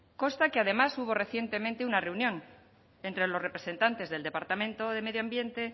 consta que además hubo recientemente una reunión entre los representantes del departamento de medio ambiente